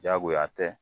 Diyagoya tɛ